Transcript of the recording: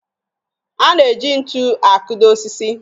A na-eji ntu akụdo osisi